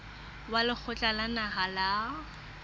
wa lekgotla la naha la